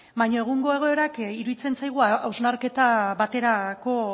baina egungo egoerak iruditzen zaigu hausnarketa baterako